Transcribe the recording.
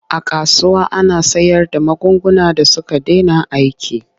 A kasuwa ana sayarda magunguna da suka dena aiki.